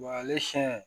ale siɲɛ